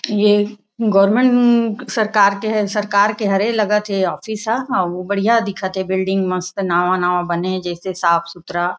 ए government सरकार के हर ए लगथे ऑफिस ह अउ बढ़िया दिखत थे बिल्डिंग मस्त नवा- नवा बने हे जैसे साफ़ - सुथरा।